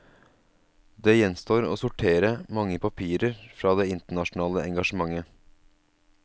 Det gjenstår å sortere mange papirer fra det internasjonale engasjementet.